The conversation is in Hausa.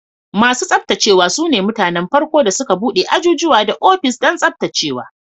Masu tsaftacewa su ne mutanen farko da suka bude ajujuwa da ofis don tsaftacewa.